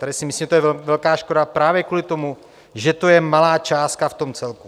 Tady si myslím, že to je velká škoda právě kvůli tomu, že to je malá částka v tom celku.